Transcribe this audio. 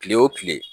Kile wo kile